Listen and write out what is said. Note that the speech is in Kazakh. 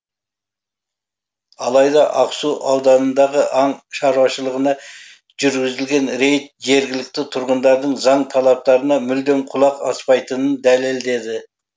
алайда ақсу ауданындағы аң шаруашылығына жүргізілген рейд жергілікті тұрғындардың заң талаптарына мүлдем құлақ аспайтынын дәлелдеді